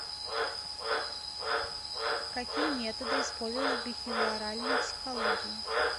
какие методы использовались в бихевиоральной психологии